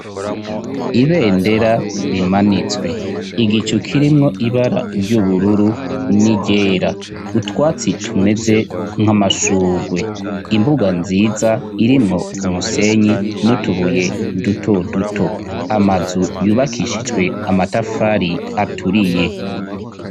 Ibendera rimanitswe igicu kirimwo ibara ry'ubururu n'iryera utwatsi tumeze nk'amashugwe imbuga nziza irimwo umusenyi n'utubuye duto duto amazu yubakishijwe amatafari aturiye.